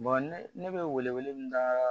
ne bɛ wele wele min da